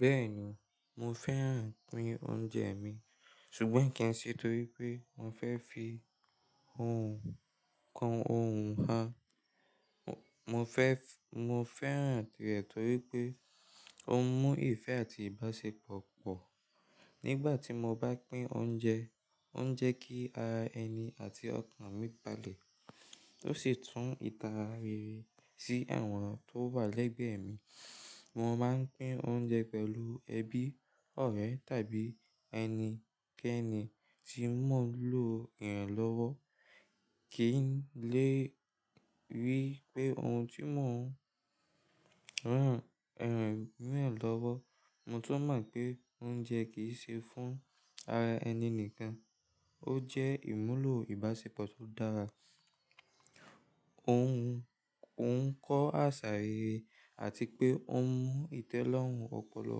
Bẹ́ẹ̀ni, mo fẹ́ràn pín oúnjẹ mi, ṣùgbọ́n kì í ṣe torí pé mo fẹ́ fi ohùn kan ohùn ha. Mo fẹ́ràn rẹ̀ torí pé ó ń mú ìfẹ́ àti ìbáṣepọ̀ pọ̀. Nígbà tí mo bá pín oúnjẹ, ó ń jẹ́ kí ara ẹni àti ọkàn mi palẹ̀, tó sì tún ìtara rere sí àwọn tó wà lẹ́gbẹ̀ẹ́ mi. Mo máa ń pín oúnjẹ pẹ̀lú ẹbí, ọ̀rẹ́ tàbí ẹni kẹ́ẹ́ni tí mọ́ lò ìrànlọ́wọ́. Kì í lè rí pé ohun tí mò ń rán ìrànwé mi lọ́wọ́. Mo tún mọ̀ pé oúnjẹ kì í ṣe fún ara ẹni nìkan, ó jẹ́ ìmúlò ìbáṣepọ̀ tó dára. Òun ń kọ́ àṣà rere àti pé ó ń mú ìtẹ́lọ́rùn ọpọlọ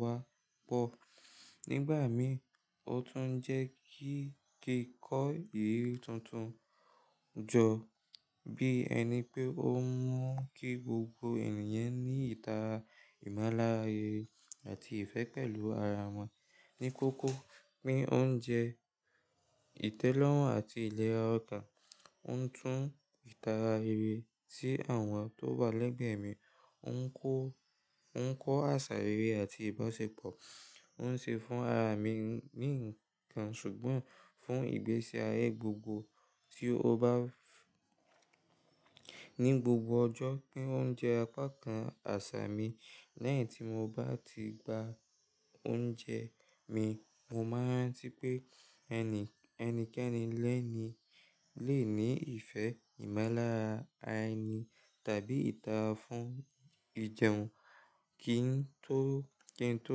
wá pọ̀. Nígbà mi, ó tún ń jẹ́ kí kí kọ́ ìlú tuntun jọ, bí ẹni pé ó mọ̀ kí gbogbo ènìyàn ní ìtara, ìmalára rere àti ìfẹ́ pẹ̀lú ara wọn. Ní kókó, pín oúnjẹ, ìtẹ́lọ́rùn àti ìlera ọkàn. Ó ń tún ìtara rere sí àwọn tó wà lẹ́gbẹ̀ẹ́ mi, ó ń kọ́ àṣà rere àti ìbáṣepọ̀. Ó ń ṣe fún ara mi ní ǹkan ṣùgbọ́n fún ìgbésí ayé gbogbo tí ó bá ní gbogbo ọjọ́. Pín oúnjẹ apákan àṣà mi. Lẹ́yìn tí mo bá ti gba oúnjẹ mi, mo máa ń rántí pé ẹni kẹ́ẹ́ni lẹ́ẹ̀ni lè ní ìfẹ́, ìmalára ará ẹni tàbí ìtara fún ìjẹun ki n tó kí n tó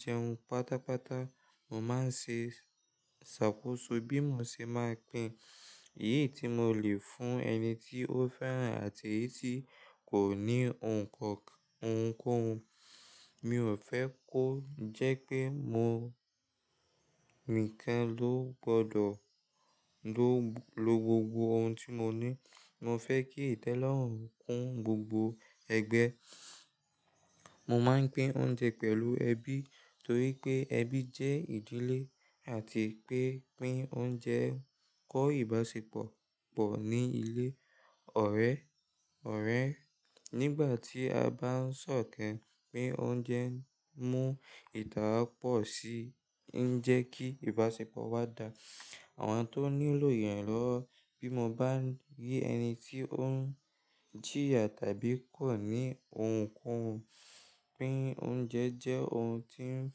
jẹun pátápátá. Mo máa ń ṣe ṣàkóso bí mo ṣe máa pín èyí tí mo lè fún ẹni tí ó fẹ́ràn àti èyí tí kò ní ohùn kan ohùn. Mi ò fẹ́ kó jẹ́ pé mo nìkan ló gbọdọ̀ lo gbogbo ohun tí mo ní. Mo fẹ́ kí ìtẹ́lọ́rùn kún gbogbo ẹgbẹ́. Mo máa ń pín oúnjẹ pẹ̀lú ẹbí torí pé ẹbí jẹ́ ìdílé àti pé pín oúnjẹ ń kọ́ ìbáṣepọ̀ pọ̀ ní ilé. Ọ̀rẹ́, nígbà tí a bá ń sọ̀kẹ̀, pín oúnjẹ ń mú ìtara pọ̀ sí, ń jẹ́ kí ìbáṣepọ̀ wá dá àwọn tó nílò ìrànlọ́wọ́. Bí mo bá rí ẹni tí ó ń jìyà tàbí kò ní ohùn ko ohùn, pín oúnjẹ jẹ́ ohun tí ń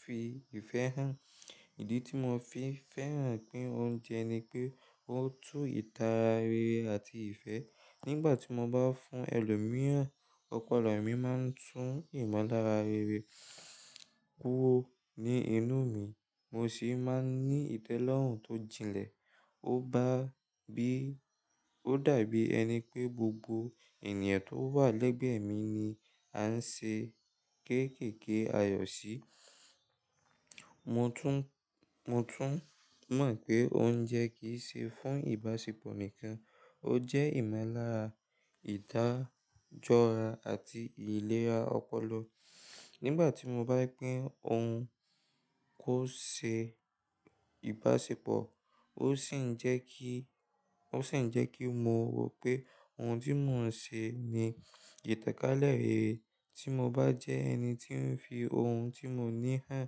fi ìfẹ́ hàn. Ìdí tí mo fi fẹ́ràn pín oúnjẹ ni pé ó tú ìtara rere àti ìfẹ́. Nígbà tí mo bá fún ẹlòmíràn, ọpọlọ mi máa ń tún ìmúlára rere kúrò ní inú mi. Mo sì máa ń ní ìtẹ́lọ́rùn tó jilẹ̀. Ó dàbí ẹni pé gbogbo ènìyàn tó wà lẹ́gbẹ̀ẹ́ mi ni à ń ṣe kéékèèké ayọ̀ sí. Mo tún mọ̀ pé oúnjẹ kì í ṣe fún ìbáṣepọ̀ nìkan, ó jẹ́ ìmúlára ìdájọ́ra àti ìlera ọpọlọ. Nígbà tí mo bá pín ohun kó ṣe ìbáṣepọ̀, ó sì ń jẹ́ kí mo mọ̀ pé ohun tí mò ń ṣe ni ìtàkálẹ̀ rere. Tí mo bá jẹ́ ẹni tí ń fi ohun tí mo ní hàn,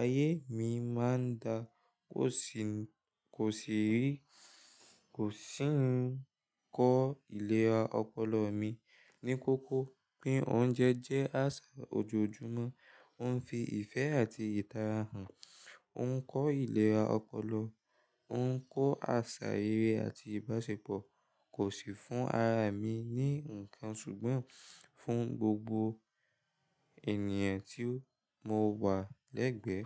ayé mi máa ń dà. Kò sì ń kọ́ ìlera ọpọlọ mi. Ní kókó, pín oúnjẹ jẹ́ àṣà ojoojúmọ́, ó ń fi ìfẹ́ àti ìtara hàn, ó ń kọ́ ìlera ọpọlọ, ó ń kọ́ àṣà rere àti ìbáṣepọ̀. Kò sì fún ara mi ní ǹkan ṣùgbọ́n fún gbogbo ènìyàn tí mo wà lẹ́gbẹ̀ẹ́.